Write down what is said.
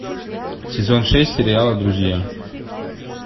сезон шесть сериала друзья